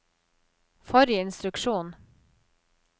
forrige instruksjon